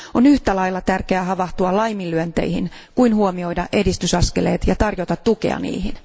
On yhtä lailla tärkeää havahtua laiminlyönteihin kuin huomioida edistysaskeleet ja tarjota tukea niihin.